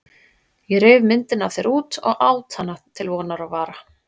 Ég reif myndina af þér út og át hana til vonar og vara.